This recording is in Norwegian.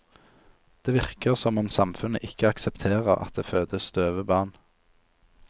Det virker som om samfunnet ikke aksepterer at det fødes døve barn.